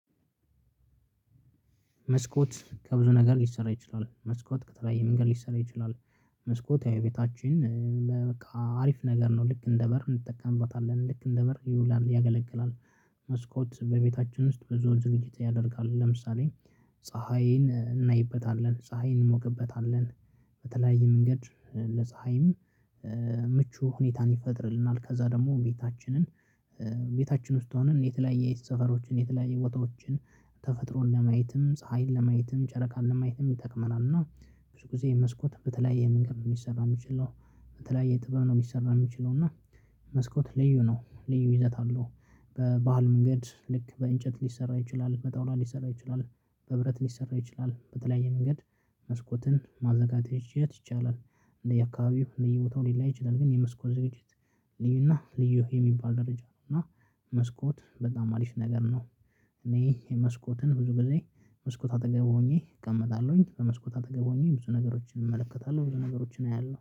መስኮት ከብዙ ነገር ሊሰራ ይችላል መስኮት ከተለያየ መንገድ ሊሰራ ይችላል። መስኮት ያው የቤታችን በቃ አሪፍ ነገር ነው ልክ እንደ በር እንጠቀምበታለን ልክ እንደ በር ይውላል ያገለግላል። መስኮት በቤታችን ውስጥ ብዙውን ዝግጅት ያደርጋል ለምሳሌ ፀሀይን እናይበታለን ፀሀይን እንሞቅበታለን። በተለያየ መንገድ ለፀሀይም ምቹ ሁኔታን ይፈጥርልናል። ከዛ ደግሞ ቤታችንን ቤታችን ውስጥ ሆነን የተለያየ የሰፈሮችን የተለያየ ቦታዎችን ተፈጥሮን ለማየትም ፀሀይን ለማየትም ጨረቃን ለማየትም ይጠቅመናል። እና ብዙ ጊዜ መስኮት በተለያየ መንገድ ነው ሊሰራ የሚችለው። በተለይ ጥበብ ነው ሊሰራ የሚችለው። እና መስኮት ልዩ ነው ልዩ ይዘት አለው። በባህል መንገድ ልክ በእንጨት ሊሰራ ይችላል በጣውላ ሊሰራ ይችላል በብረት ሊሰራ ይችላል በተለያየ መንገድ መስኮትን ማዘጋጀት ይቻላል። እንደ የአካባቢው ልዩ ቦታው ሊለያይ ይችላል ግን የመስኮት ዝግጅት ልዩና ልዩ የሚባል ደረጃ ነው። እና መስኮት በጣም አሪፍ ነገር ነው። እኔ የመስኮትን ብዙ ጊዜ መስኮት አጠገብ ሆኜ እቀመጣለሁኝ መስኮት አጠገብ ሆኜ ብዙ ነገሮችን እመለከታለሁ ብዙ ነገሮችን አያለሁ